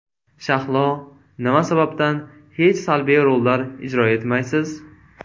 Shahlo, nima sababdan hech salbiy rollar ijro etmaysiz?